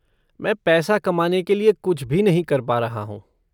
मैं पैसा कमाने के लिए कुछ भी नहीं कर पा रहा हूँ।